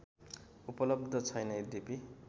उपलब्ध छैन यद्यपि